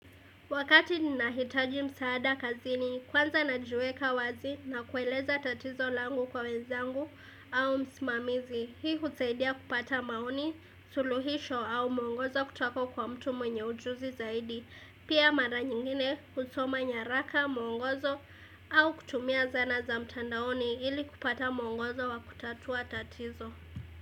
Wakati nina hitaji msaada kazini, kwanza na jiweka wazi na kueleza tatizo langu kwa wenzangu au msimamizi, hii kusaidia kupata maoni, suluhisho au mwongozo kutoka kwa mtu mwenye ujuzi zaidi. Pia mara nyingine kusoma nyaraka, mungozo au kutumia zana za mtandaoni ili kupata mwongozo wa kutatua tatizo.